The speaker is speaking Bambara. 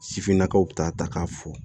Sifinnakaw ta k'a fo